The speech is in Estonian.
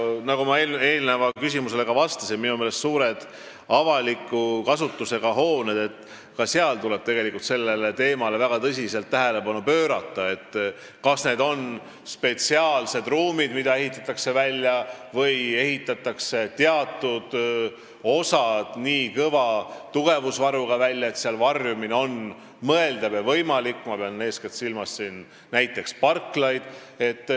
Nagu ma aga eelmisele küsimusele vastates ütlesin, minu meelest tuleb suurte avaliku kasutusega hoonete puhul väga tõsist tähelepanu pöörata sellele, kas ehitada välja spetsiaalsed ruumid või teha teatud hooneosad nii kõva tugevusvaruga, et varjumine seal on mõeldav ja võimalik, ma pean silmas eeskätt parklaid.